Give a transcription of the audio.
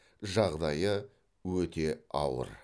жағдайы өте ауыр